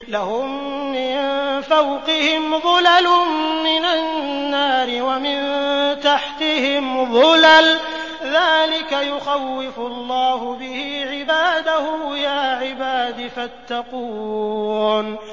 لَهُم مِّن فَوْقِهِمْ ظُلَلٌ مِّنَ النَّارِ وَمِن تَحْتِهِمْ ظُلَلٌ ۚ ذَٰلِكَ يُخَوِّفُ اللَّهُ بِهِ عِبَادَهُ ۚ يَا عِبَادِ فَاتَّقُونِ